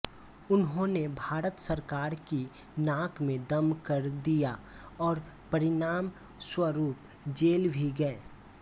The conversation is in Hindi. उन्होंने भारत सरकार की नाक में दम कर दिया और परिणाम स्वरूप जेल भी गए